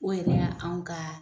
O yɛrɛ anw ka